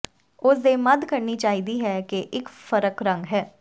ਉਸ ਦੇ ਮੱਧ ਕਰਨੀ ਚਾਹੀਦੀ ਹੈ ਕਿ ਇੱਕ ਫ਼ਰਕ ਰੰਗ ਹੈ